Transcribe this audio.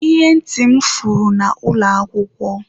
Ihe ntị m furu na ụlọ akwụkwọ.